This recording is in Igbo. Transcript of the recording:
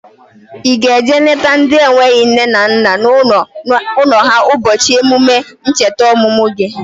Ị ga-eje lete ndị enweghị nne na nna n'ụlọ ha ụbọchị emume ncheta ọmụmụ gi?